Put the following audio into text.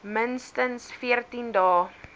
minstens veertien dae